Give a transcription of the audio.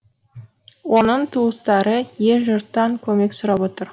оның туыстары ел жұрттан көмек сұрап отыр